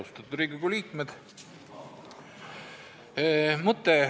Austatud Riigikogu liikmed!